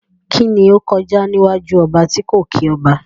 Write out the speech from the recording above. Kíni ó kọjá níwájú ọba tí kò kí ọba?